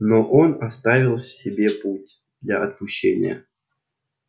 но он оставил себе путь для отпущения